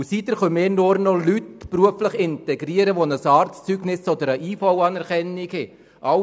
Seither können wir nur noch Leute beruflich integrieren, die ein Arztzeugnis oder eine IV-Anerkennung vorweisen.